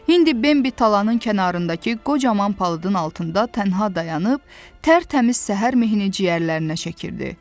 İndi Bembi talanın kənarındakı qocaman palıdın altında tənha dayanıb, tərtəmiz səhər mehi ciyərlərinə çəkirdi.